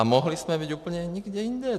A mohli jsme být úplně někde jinde.